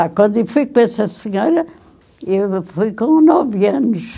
Ah, quando eu fui com essa senhora, eu fui com nove anos.